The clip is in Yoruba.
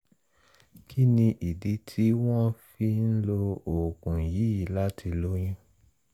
kí ni ìdí tí tí wọ́n fi ń lo oògùn yìí láti lóyún